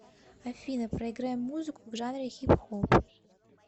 афина проиграй музыку в жанре хип хоп